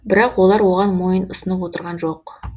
бірақ олар оған мойын ұсынып отырған жоқ